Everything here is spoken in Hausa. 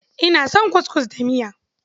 Ina son kuskus da miya.